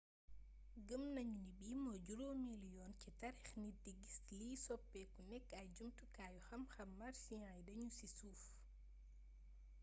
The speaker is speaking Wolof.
gëmm nañu ni bii mooy juroomélu yoon ci taarix nit di giss liy soppeeku nekk ay jumtukaayu xamxam martian yu daanu ci suuf